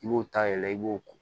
I b'o ta yɛlɛ i b'o ko